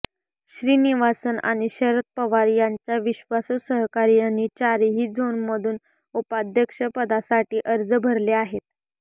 श्रीनिवासन आणि शरद पवार यांच्या विश्वासू सहकार्यांनी चारही झोनमधून उपाध्यक्षपदासाठी अर्ज भरले आहेत